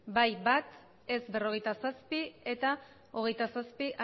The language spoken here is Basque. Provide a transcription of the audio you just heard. bai bat ez berrogeita zazpi abstentzioak hogeita zazpi